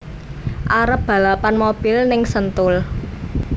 Arep balapan mobil ning Sentul